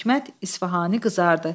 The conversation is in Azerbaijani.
Hikmət İsfahani qızardı.